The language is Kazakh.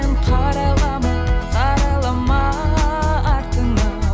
қарайлама қарайлама артыңа